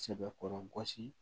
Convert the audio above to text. Sɛbɛkɔrɔ gosi